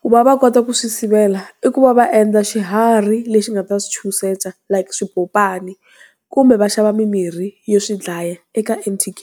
Ku va va kota ku swi sivela, i ku va va endla xiharhi lexi nga ta swi chuhisela like swipopani, kumbe va xava mimirhi yo swi dlaya eka N_T_K.